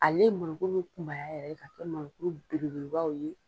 Ale mɔnɔ kuru bɛ kunbaya yɛrɛ ka kɛ mɔnɔ kuru bele belebaw ye.